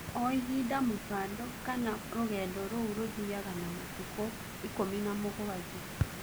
O ihinda mũbando kana rũgendo rũu rũthiaga ta matukũ 17.